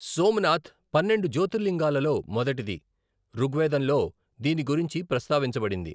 సోమనాథ్ పన్నెండు జ్యోతిర్లింగాలలో మొదటిది, ఋగ్వేదంలో దీని గురించి ప్రస్తావించబడింది.